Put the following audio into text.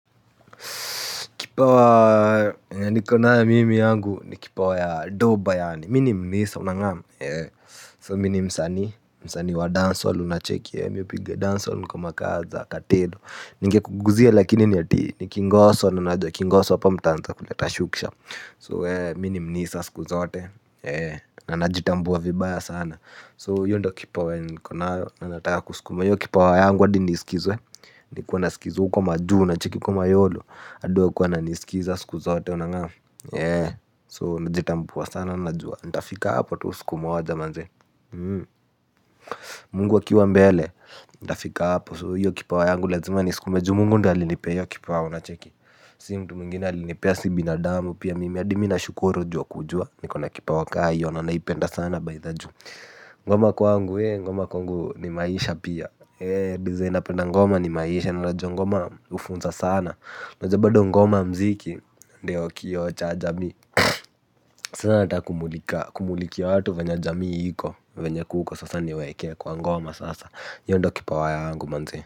Kipawa yenye niko nayo mimi yangu ni kipawa ya doba yani, mimi ni msani unangamu, so mimi ni msani, msani wa dance hall unacheki ee, mimi hupiga dance hall kama kawa za katelo, ningekuguzia lakini ni ati, ni kingoso na najua kingoso hapa mtaanza kuleta shukisha, so mimi ni msani siku zote, na najitambua vibaya sana, so hiyo ndo kipawa yenye niko nayo, na nataka kuskuma, hiyo kipawa yangu hadi niskizwe, niwe nasikizwa, huko majuu unacheki huko mayolo, hadi wakuwe wana nisikiza siku zote unangamu. So najitambua sana najua nitafika hapo tu siku moja manze Mungu akiwa mbele. Ntafika hapo, So hiyo kipawa yangu lazima niskume ju Mungu ndiye alinipe hiyo kipawa unacheki. Si mtu mwingine alinipea si binadamu pia mimi hadi mimi nashukuru ju ya kujua niko na kipawa ka hiyo na naipenda sana. Ngoma kwangu ee ngoma kwangu ni maisha pia, ee design napenda ngoma ni maisha, na najua ngoma hufunza sana, najua bado ngoma, mziki ndio kioo cha jamii. Sana nataka kumulika, kumulikia watu venye jamii iko venye kuko sasa niweke kwa ngoma sasa hiyo ndio kipawa yangu manze.